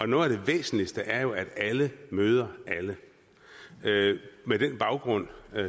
noget af det væsentligste er jo at alle møder alle med den baggrund